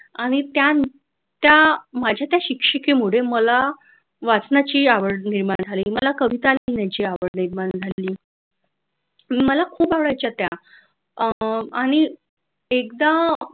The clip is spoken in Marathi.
आणि त्या माझ्या त्या शिक्षिकेमुळे मला वाचनाची आवड निर्माण झाली मला कविता लिहिण्याची आवड निर्माण झाली मला खूप आवडायच्या त्या अह आणि एकदा